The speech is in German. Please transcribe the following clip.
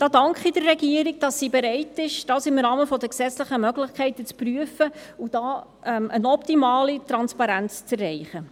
Da danke ich der Regierung, dass sie bereit ist, dies im Rahmen der gesetzlichen Möglichkeiten zu prüfen und hier eine optimale Transparenz zu erreichen.